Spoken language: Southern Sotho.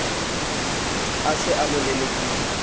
a se a mo lelekile